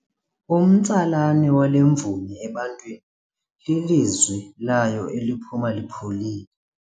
Umtsalane wale mvumi ebantwini lilizwi layo eliphuma lipholile.